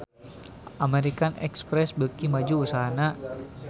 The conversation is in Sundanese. American Express beuki maju usahana